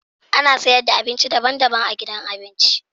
Ana sayar da abinci daban-daban a gidan abinci.